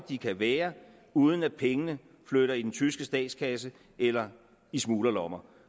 de kan være uden at pengene flytter i den tyske statskasse eller i smuglerlommer